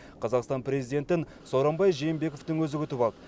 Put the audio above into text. қазақстан президентін сооронбай жээнбековтің өзі күтіп алды